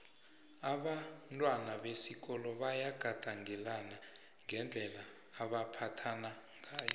abantwana besikolo bayagandelelana ngendlela abambatha ngayo